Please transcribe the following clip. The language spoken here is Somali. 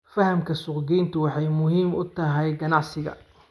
Fahamka suuqgeyntu waxay muhiim u tahay ganacsiga.